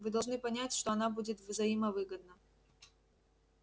вы должны понять что она будет взаимовыгодна